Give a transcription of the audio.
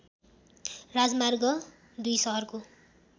राजमार्ग २ सहरको